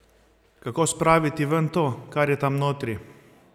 Kako spraviti ven to, kar je tam notri?